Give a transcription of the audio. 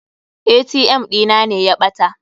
ATM ɗina ne ya ɓata.